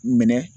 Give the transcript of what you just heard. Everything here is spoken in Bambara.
Minɛ